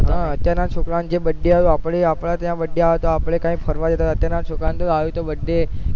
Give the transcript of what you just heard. હા અત્યાર ના છોકરા ઓં ને જે birthday એ અપડા આપણા ત્યાં birthday આવે ત્યાં તો આપડે ક્યાંક ફરવા જતા અત્યાના છોકરાઓ ને આવ્યો તો birthday